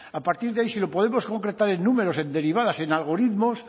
a partir de ahí se lo podemos concretar en números en derivadas en algoritmos